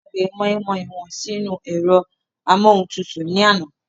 Wón gbàgbé mọ́ínmọ́ín won sínú u ẹ̀rọ amúohuntutù ní àná